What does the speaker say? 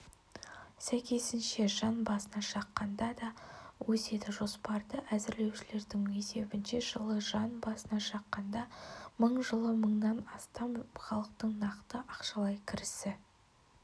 сәйкесінше жан басына шаққанда де өседі жоспарды әзірлеушілердің есебінше жылы жан басына шаққанда мың жылы мыңнан астам халықтың нақты ақшалай кірісі